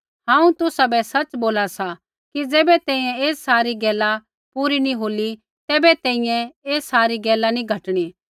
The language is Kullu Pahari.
हांऊँ तुसाबै सच़ बोला सा कि ज़ैबै तैंईंयैं ऐ सारी गैला पूरी नी होली तैबै तैंईंयैं ऐ सारी गैला नी घटणी